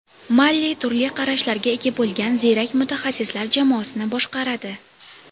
Malli turli qarashlarga ega bo‘lgan ziyrak mutaxassislar jamoasini boshqaradi.